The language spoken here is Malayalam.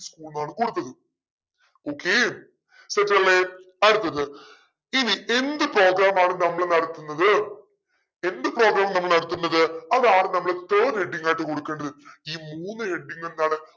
school ന്നാണ് കൊടുത്തത് okay set അല്ലെ അടുത്തത് ഇനി എന്ത് program ആണ് നമ്മൾ നടത്തുന്നത് എന്ത് program നമ്മൾ നടത്തുന്നത് അതാണ് നമ്മൾ third heading ആയിട്ട് കൊടുക്കേണ്ടത് ഈ മൂന്ന് heading എന്താണ്